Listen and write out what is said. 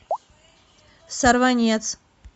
сорванец